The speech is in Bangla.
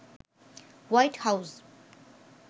white house